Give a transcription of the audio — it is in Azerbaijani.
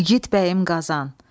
İgid bəyim Qazan.